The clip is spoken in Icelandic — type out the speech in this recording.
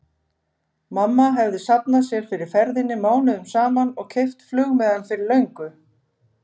Mamma hefði safnað sér fyrir ferðinni mánuðum saman og keypt flugmiðann fyrir löngu.